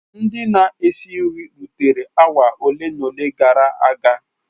] Ndị na-esi nri rutere awa ole na ole gara aga.